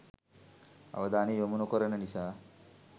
අවධානය යොමු නොකරන නිසා